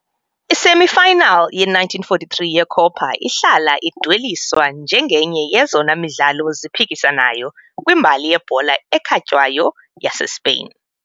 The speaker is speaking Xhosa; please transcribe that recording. I-semi-final ye-1943 yeCopa ihlala idweliswa njengenye yezona midlalo ziphikisanayo kwimbali yebhola ekhatywayo yaseSpain .